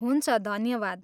हुन्छ, धन्यवाद।